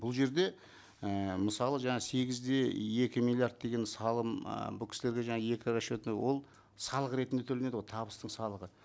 бұл жерде ііі мысалы жаңа сегіз де екі миллиард деген салым ы бұл кісілерге жаңа екі расчетный ол салық ретінде төленеді ғой табыстың салығы